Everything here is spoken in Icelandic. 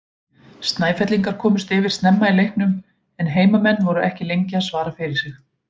Snæfellingar komust yfir snemma í leiknum en heimamenn voru ekki lengi að svara fyrir sig.